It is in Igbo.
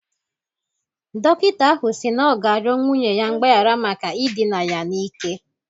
Dọkịta ahụ si na ọ ga-arịọ nwunye ya mgbaghara maka idina ya n'ike